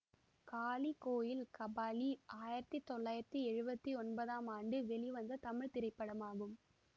காளி கோயில் கபாலி ஆயிரத்தி தொள்ளாயிரத்தி எழுவத்தி ஒன்பதாம் ஆண்டு வெளிவந்த தமிழ் திரைப்படமாகும்